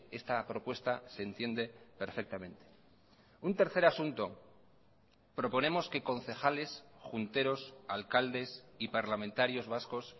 esta propuesta se entiende perfectamente un tercer asunto proponemos que concejales junteros alcaldes y parlamentarios vascos